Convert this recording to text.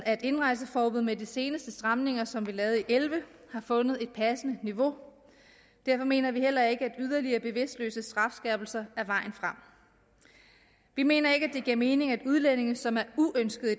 af indrejseforbud med de seneste stramninger som vi lavede i og elleve har fundet et passende niveau derfor mener vi heller ikke at yderligere bevidstløse strafskærpelser er vejen frem vi mener ikke at det giver mening at udlændinge som er uønskede